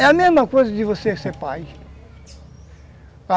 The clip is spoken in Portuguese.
É a mesma coisa de você ser pai.